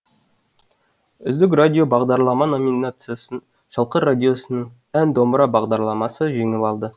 үздік радио бағдарлама номинациясын шалқар радиосының ән домбыра бағдарламасы жеңіп алды